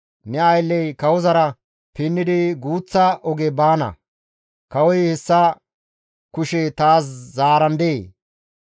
Ne aylley kawozara pinnidi guuththa oge baana; kawoy hessa kushe taas zaarandee?